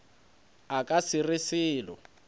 a ka se re selo